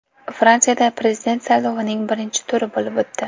Fransiyada prezident saylovining birinchi turi bo‘lib o‘tdi.